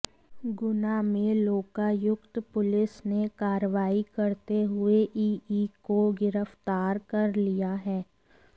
गुना में लोकायुक्त पुलिस ने कार्रवाई करते हुए ईई को गिरफ्तार कर लिया है